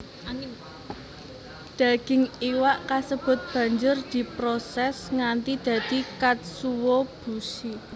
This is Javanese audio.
Daging iwak kasebut banjur diproses nganti dadi katsuobushi